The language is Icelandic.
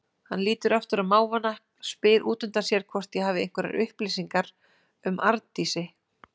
Hann lítur aftur á mávana, spyr útundan sér hvort ég hafi einhverjar upplýsingar um Arndísi.